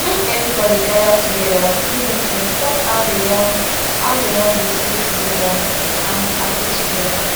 make everybody gather together do meeting talk how they won how they won de stay together and agree together